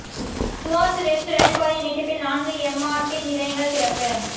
துவாஸ் west ரயில் பாதை நீட்டிப்பில் நான்கு எம்ஆர்டி நிலையங்கள் திறப்பு